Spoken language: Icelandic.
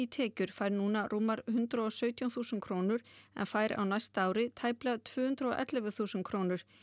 tekjur fær núna rúmar hundrað og sautján þúsund krónur en fær á næsta ári tæplega tvö hundruð og ellefu þúsund krónur